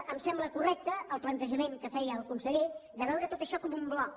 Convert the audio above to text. em sembla correcte el plantejament que feia el conseller de veure tot això com un bloc